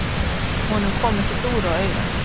Honum kom ekki dúr á auga.